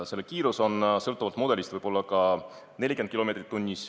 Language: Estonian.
Selle kiirus võib sõltuvalt mudelist olla ka 40 kilomeetrit tunnis.